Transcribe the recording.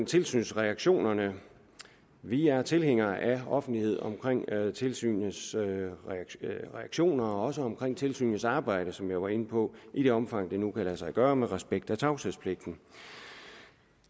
tilsynsreaktionerne vi er tilhængere af offentlighed omkring tilsynets reaktioner og også omkring tilsynets arbejde som jeg var inde på i det omfang det nu kan lade sig gøre med respekt for tavshedspligten